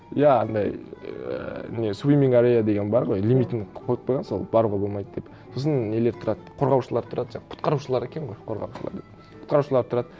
иә анандай ііі не суимминг ареа деген бар ғой лимитін қойып қойған сол баруға болмайды деп сосын нелер тұрады қорғаушылар тұрады жаңа құтқарушылар екен ғой қорғаушылар деп құтқарушылар тұрады